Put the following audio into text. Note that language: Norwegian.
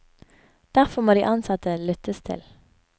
Derfor må de ansatte lyttes til.